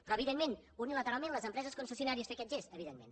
però evidentment unilateralment les empreses concessionàries fer aquest gest evidentment